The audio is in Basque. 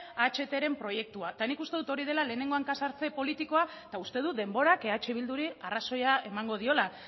ahtren proiektua nik uste dut hori dela lehenengo hanka sartze politikoa eta uste dut denborak eh bilduri arrazoia emango diola